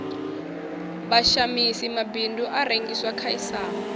vhashamisi mabindu a rengisela khasiama